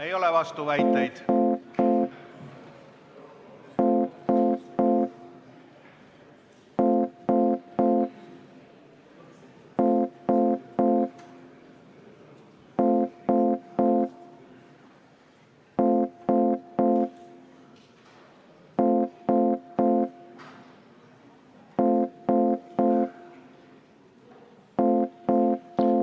Ei ole vastuväiteid?